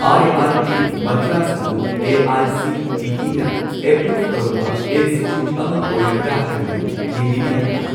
I I T Madras ꯑꯗꯨ ꯑꯦ.ꯑꯥꯏ.ꯁꯤ.ꯇꯤ.ꯏ.ꯅ approve ꯇꯧꯔꯕ ꯏꯟꯁꯇꯤꯇ꯭ꯌꯨꯠ ꯑꯃ ꯑꯣꯏꯔꯕ꯭ꯔꯥ ꯍꯥꯏꯕꯗꯨ ꯌꯦꯡꯕꯤꯕ ꯌꯥꯒꯗ꯭ꯔꯥ?